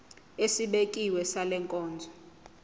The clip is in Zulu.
esibekiwe sale nkonzo